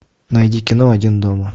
найди кино один дома